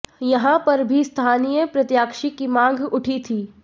यहां पर भी स्थानीय प्रत्याशी की मांग उठी थी